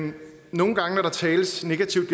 nogle gange når der tales negativt